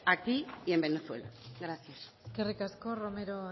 aquí y en venezuela gracias eskerrik asko romero